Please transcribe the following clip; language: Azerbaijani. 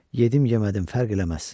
Yedim, yemədim, fərq eləməz.